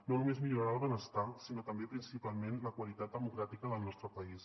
no només millorarà el benestar sinó també principalment la qualitat democràtica del nostre país